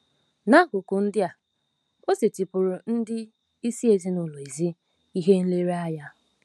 N'akụkụ ndị a, o setịpụụrụ ndị isi ezinụlọ ezi ihe nlereanya.